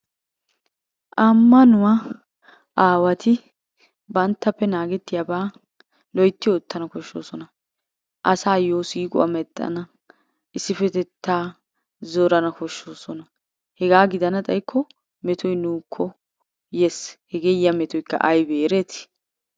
Ammanuwa aawati banttappe naagettiyabaa loytti oottanawu koshshoosona. Asayo siiquwa mexxana, issippetettaa zorana koshdhoosona, hegaa gidana xaykko metoy nuukko yees. Hegee yiya metoykka aybee ereeti?